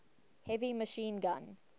heavy machine gun